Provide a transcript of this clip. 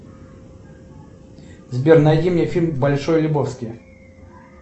сбер найди мне фильм большой лебовски